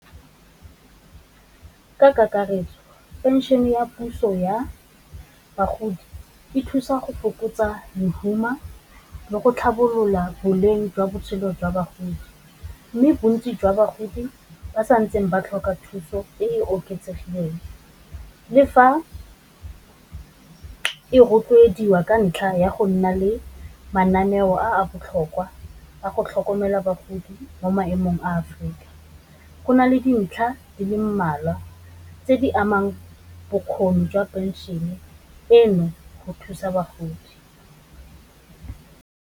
ka kakaretso phenšene ya puso ya bagodi, e thusa go fokotsa lehuma, le go tlhabolola boleng jwa botshelo jwa bagodi, mme bontsi jwa bagodi ba sa ntseng ba tlhoka thuso e e oketsegileng, le fa e rotloediwa ka ntlha ya go nna le mananeo a botlhokwa a go tlhokomela bagodi mo maemong a Afrika, go nale dintlha di le mmalwa tse di amang bokgoni jwa phenšene eno go thusa bagodi.